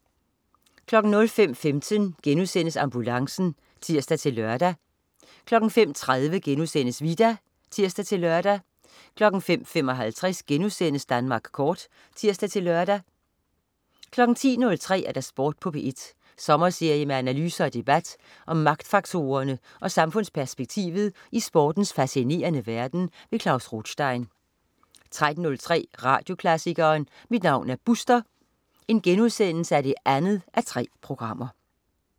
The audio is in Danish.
05.15 Ambulancen* (tirs-lør) 05.30 Vita* (tirs-lør) 05.55 Danmark Kort* (tirs-lør) 10.03 Sport på P1. Sommerserie med analyser og debat om magtfaktorerne og samfundsperspektivet i sportens fascinerende verden. Klaus Rothstein 13.03 Radioklassikeren. Mit navn er Buster 2:3*